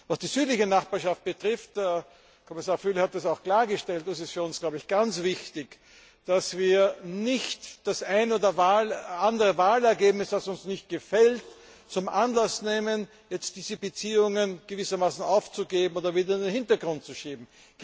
Was die südliche Nachbarschaft betrifft Kommissar Füle hat das auch klargestellt ist es für uns ganz wichtig, dass wir nicht das eine oder andere Wahlergebnis, das uns nicht gefällt, zum Anlass nehmen, diese Beziehungen gewissermaßen aufzugeben oder wieder in den Hintergrund zu schieben.